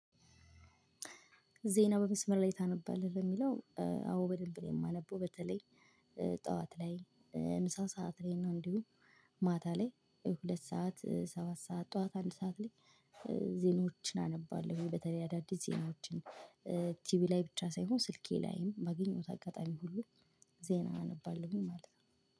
ዜና በመስመር ላይ ታነባለህ ለሚለው? አዎ በደንብ ነው የማነበው። በተለይ ጠዋት ላይ ምሳ ሰዓት ላይ እና እንዲሁም ማታ ላይ ሁለት ሰዓት ሰባት ሰዓት ጠዋት አንድ ሰዓት ላይ። ዜኖችን አነባለሁ በተለይ አዳዲስ ዜኖችን ቲቪ ላይ ብቻ ሳይሆን ስልኬ ላይም ባገኘውት አጋጣሚ ሁሉ ዜና አነባለሁኝ ማለት ነው።